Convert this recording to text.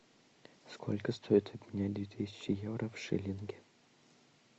сколько стоит обменять две тысячи евро в шиллинги